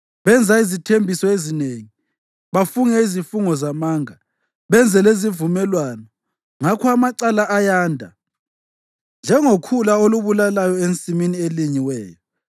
Benza izithembiso ezinengi, bafunge izifungo zamanga, benze lezivumelwano; ngakho amacala ayanda njengokhula olubulalayo ensimini elinyiweyo.